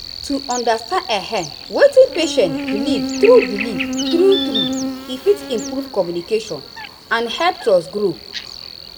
to understand ehm wetin patient believe true believe true true he fit improve communication and help trust grow.